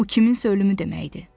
Bu kiminsə ölümü deməkdir.